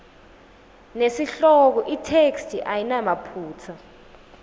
nesihloko itheksthi ayinamaphutsa